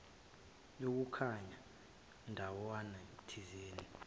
yokuya ndawana thizeni